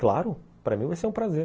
Claro, para mim vai ser um prazer.